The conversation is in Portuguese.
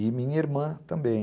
E minha irmã também.